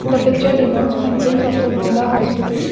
the picture denotes entrance of the mulla hospital.